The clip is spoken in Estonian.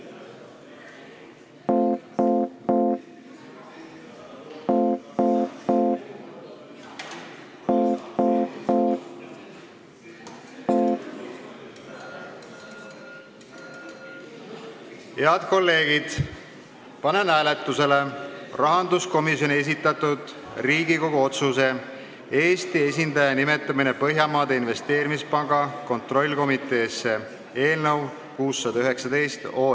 Head kolleegid, panen hääletusele rahanduskomisjoni esitatud Riigikogu otsuse "Eesti esindaja nimetamine Põhjamaade Investeerimispanga kontrollkomiteesse" eelnõu 619.